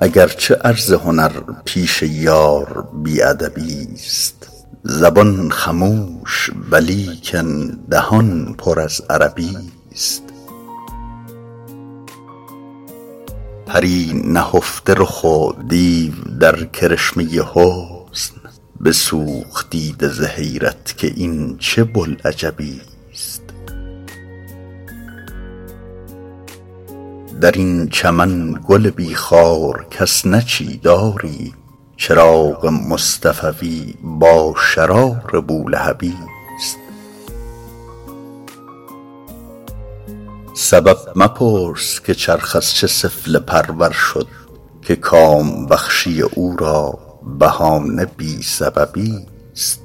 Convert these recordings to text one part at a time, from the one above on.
اگر چه عرض هنر پیش یار بی ادبی ست زبان خموش ولیکن دهان پر از عربی ست پری نهفته رخ و دیو در کرشمه حسن بسوخت دیده ز حیرت که این چه بوالعجبی ست در این چمن گل بی خار کس نچید آری چراغ مصطفوی با شرار بولهبی ست سبب مپرس که چرخ از چه سفله پرور شد که کام بخشی او را بهانه بی سببی ست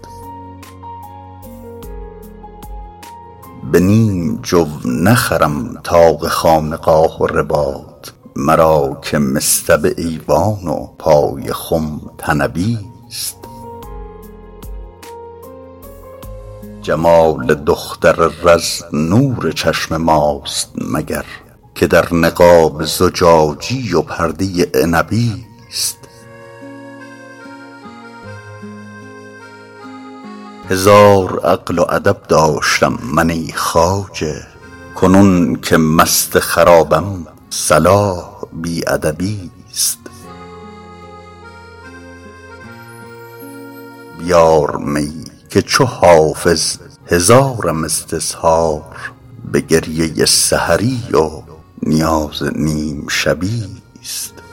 به نیم جو نخرم طاق خانقاه و رباط مرا که مصطبه ایوان و پای خم طنبی ست جمال دختر رز نور چشم ماست مگر که در نقاب زجاجی و پرده عنبی ست هزار عقل و ادب داشتم من ای خواجه کنون که مست خرابم صلاح بی ادبی ست بیار می که چو حافظ هزارم استظهار به گریه سحری و نیاز نیم شبی ست